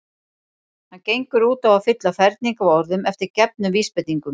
Hann gengur út á að fylla ferning af orðum eftir gefnum vísbendingum.